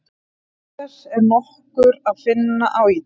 Auk þess er nokkur að finna á Ítalíu.